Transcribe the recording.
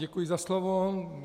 Děkuji za slovo.